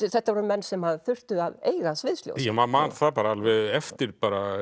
þetta voru menn sem þurftu að eiga sviðsljósið maður man það alveg eftir